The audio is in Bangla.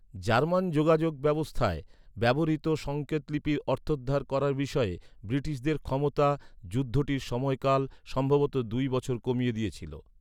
জার্মান যোগাযোগ ব্যবস্থায় ব্যবহৃত সংকেতলিপির অর্থোদ্ধার করার বিষয়ে, ব্রিটিশদের ক্ষমতা, যুদ্ধটির সময়কাল সম্ভবত দুই বছর কমিয়ে দিয়েছিল।